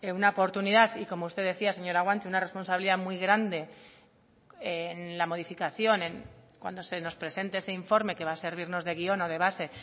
una oportunidad y como usted decía señora guanche una responsabilidad muy grande en la modificación cuando se nos presente ese informe que va a servirnos de guión o de base